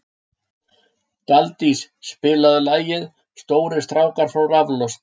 Daldís, spilaðu lagið „Stórir strákar fá raflost“.